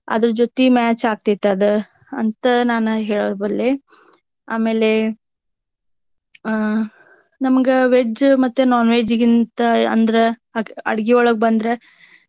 ಅದರ ಜೋತಿ match ಆಗ್ತೇತಿ ಅದ ಅಂತ ನಾನ್ ಹೇಳಬಲ್ಲೆ ಆಮೇಲೆ ಆಹ್ ನಮ್ಗ veg ಮತ್ತ non veg ಗಿಂತ ಅಂದ್ರ ಅಡ್ಗಿಯೊಳಗ ಬಂದ್ರೆ.